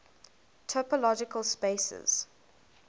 topological spaces